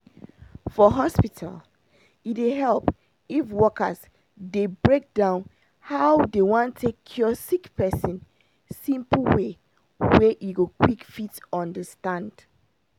for hospital e dey help if workers dey break down how dey wan take cure sick person simple way wey e go quick fit understand